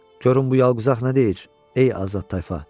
Görün bu yalquzaq nə deyir, ey azad tayfa.